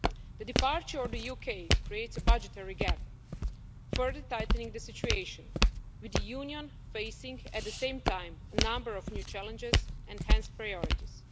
The departure of the UK creates a budgetary gap, further tightening the situation, with the Union facing, at the same time, a number of new challenges and, hence, priorities.